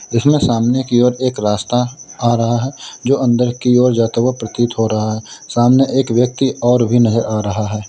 इसमें सामने की ओर एक रास्ता आ रहा है जो अंदर की ओर जाता हुआ प्रतीत हो रहा है सामने एक व्यक्ति और भी नहीं आ रहा है।